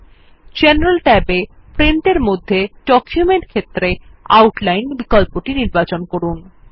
আইজেনারেল tab এ Print এর মধ্যে ডকুমেন্ট ক্ষেত্রে আউটলাইন বিকল্পটি নির্বাচন করুন